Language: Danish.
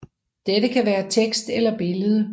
Dette kan være tekst eller billede